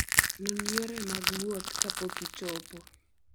Non yore mag wuoth kapok ichopo.